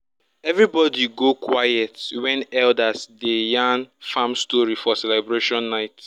everybody go quiet when elders dey yarn farm story for celebration night.